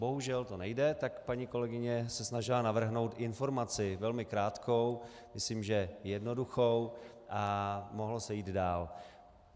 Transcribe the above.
Bohužel to nejde, tak paní kolegyně se snažila navrhnout informaci velmi krátkou, myslím, že jednoduchou, a mohlo se jít dál.